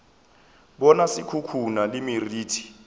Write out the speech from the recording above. bona se khukhuna le meriti